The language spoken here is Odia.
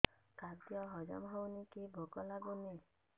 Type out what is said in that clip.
ଖାଦ୍ୟ ହଜମ ହଉନି କି ଭୋକ ଲାଗୁନି